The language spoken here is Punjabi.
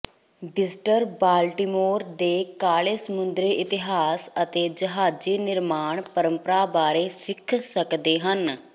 ਵਿਜ਼ਟਰ ਬਾਲਟਿਮੋਰ ਦੇ ਕਾਲੇ ਸਮੁੰਦਰੀ ਇਤਿਹਾਸ ਅਤੇ ਜਹਾਜ਼ੀ ਨਿਰਮਾਣ ਪਰੰਪਰਾ ਬਾਰੇ ਸਿੱਖ ਸਕਦੇ ਹਨ